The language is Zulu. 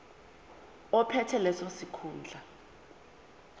ophethe leso sikhundla